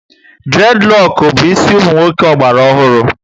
Dured roku bu ịsị umunwoke ogbala ọhụrụ